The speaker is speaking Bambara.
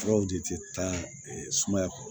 Dɔw de tɛ taa sumaya kɔ